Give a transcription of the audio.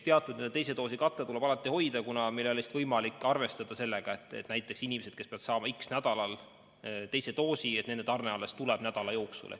Teatud teise doosi kate tuleb alati hoida, kuna meil ei ole võimalik arvestada sellega, et inimesed, kes peavad saama x nädalal teise doosi, et nende tarne alles tuleb selle nädala jooksul.